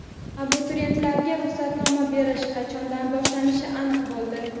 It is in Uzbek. Abituriyentlarga ruxsatnoma berish qachondan boshlanishi aniq bo‘ldi.